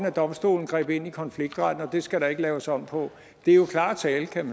at domstolen greb ind i konfliktretten og det skal der ikke laves om på det er jo klar tale kan